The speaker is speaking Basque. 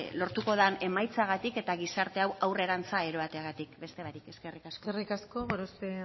lortuko den emaitzagatik eta gizarte hau aurrerantza eroateagatik beste barik eskerrik asko eskerrik asko gorospe